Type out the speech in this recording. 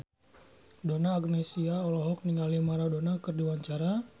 Donna Agnesia olohok ningali Maradona keur diwawancara